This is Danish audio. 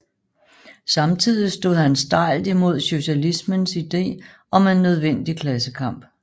Samtidig stod han stejlt imod socialismens idé om en nødvendig klassekamp